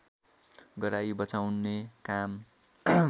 गराई बचाउने काम